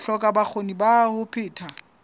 hloka bokgoni ba ho phetha